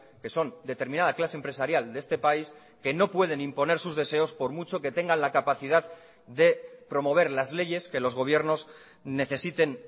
que son determinada clase empresarial de este país que no pueden imponer sus deseos por mucho que tengan la capacidad de promover las leyes que los gobiernos necesiten